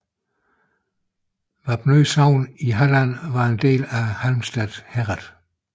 Vapnø sogn i Halland var en del af Halmstad herred